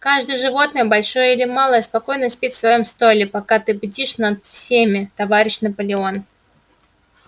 каждое животное большое или малое спокойно спит в своём стойле пока ты бдишь над всеми товарищ наполеон